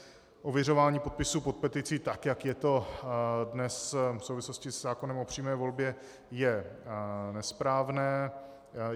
Ověřování podpisů pod petici, tak jak je to dnes v souvislosti se zákonem o přímé volbě, je nesprávné.